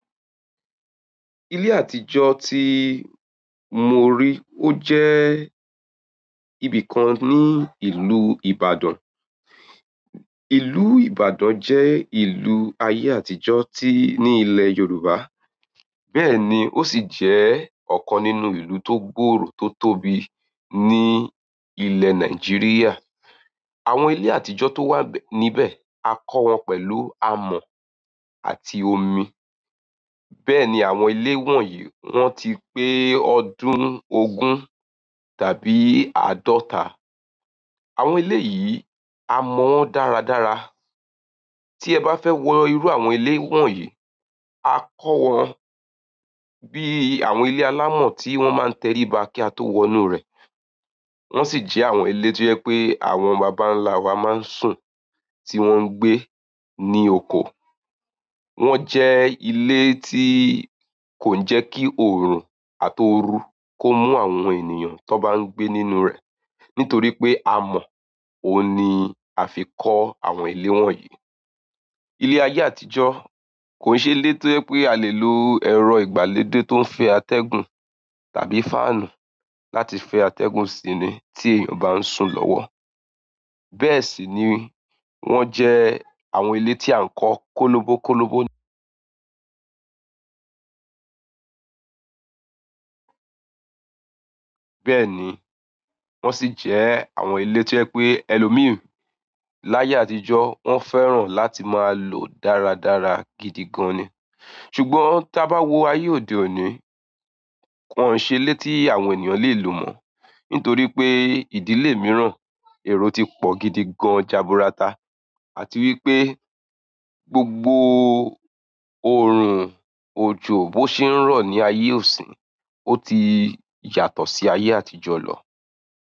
Ile àtijọ́ ti mo ri, oje ibìkan ní ìlú Ìbàdàn. Ìlú Ìbàdàn jẹ́ ìlú ayé àtijọ́ tí ní ilẹ̀ Yorùbá. Bẹ́ẹ̀ ni, ó sì jẹ́ ọ̀kan nínú ìlú tó gbòòrò tó tóbi ní ilẹ̀ Nàìjíríà. Àwọn ilé àtijọ́ tó wà níbẹ̀ a kọ́ wọn pẹ̀lú amọ̀ àti omi. Bẹ́ẹ̀ ni àwọn ilé wọ̀nyí wọ́n ti pé ọdún ogún tàbí àádọ́ta. Àwọn ilé yìí a mọ̀ wọ́n dáradára. Tí ẹ bá fẹ́ wo irú àwọn ilé wọ̀nyí, a kọ́ wọn bí àwọn ilé alámọ̀ tí wọ́n máa ń tẹríba kí a tó wọ inú rẹ̀. Wọ́n sì jẹ́ àwọn ilé tò jẹ pé àwọn bàbá ńlá wa máa ń sùn tí wọ́n ń gbé ní oko. Won je ile ti kon je ki orun at ooru ko mu àwọn ènìyàn tò ba n gbe nínú re nitoripe amo ouni afi ko àwọn ile wọ̀nyí. Ilé ayé àtijọ́ kò ṣe lé tí ẹ pé a lè lo ẹ̀rọ ìgbàlódé tó ń fẹ́ atẹ́gùn tàbí fáànù láti fẹ́ atẹ́gùn sí ni tí èèyàn bá ń sùn lọ́wọ́. Bẹ́ẹ̀ sì ni wọ́n jẹ́ àwọn ilé tí à ń kọ́ kólóbó kólóbó bẹ́ẹ̀ ni, wọ́n sì jẹ́ àwọn ilé tí ẹ pé ẹlòmí láyé àtijọ́ wọ́n fẹ́ràn láti máa lò dáradára gidi gan ni. Ṣùgbọ́n tí a bá wo ayé òde òní, wòn ṣe lé tí àwọn ènìyàn lè lò mọ́, nítorí pé ìdílé mìíràn èrò ti pọ̀ gidi gan jaburata àti wípé gbogbo òrùn òjò bó ṣe ń rọ̀ ní ayé ọ̀sìn ó ti yàtọ̀ sí ayé àtijọ́ lọ.